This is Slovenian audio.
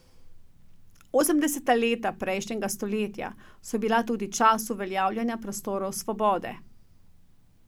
Osemdeseta leta prejšnjega stoletja so bila tudi čas uveljavljanja prostorov svobode.